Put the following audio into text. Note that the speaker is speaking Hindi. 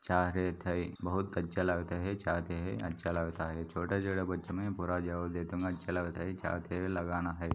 जा रहे थे बहुत अच्छा लगता है चाहते हैं अच्छा लगता है छोटे-छोटे बच्चों में पूरा जवाब दे दूंगा अच्छा लगता है चाहते लगाना है।